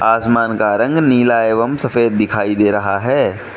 आसमान का रंग नीला एवं सफेद दिखाई दे रहा है।